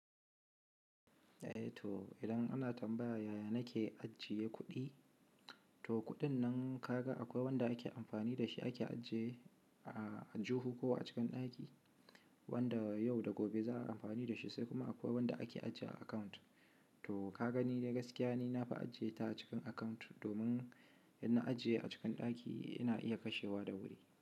Eh to idan ana tambaya yaya nake ajiye kuɗi, to kuɗin nan ka ga akwai wanda ake amfani da shi ake ajiye a, aljihu ko a cikin ɗaki, wanda yau da gobe za a yi amfani da shi, sai kuma akwai wanda ake ajiyewa a account. To ka gani dai gaskiya ni na fi ajiye ta a cikin account domin idan na ajiye a cikin ɗaki ina iya kashewa da wuri.